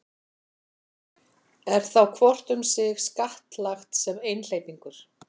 Er þá hvort um sig skattlagt sem einhleypingur.